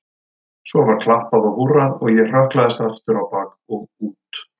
Svo var klappað og húrrað og ég hrökklaðist aftur á bak og út.